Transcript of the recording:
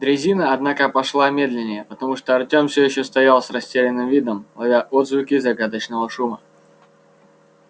дрезина однако пошла медленнее потому что артём всё ещё стоял с растерянным видом ловя отзвуки загадочного шума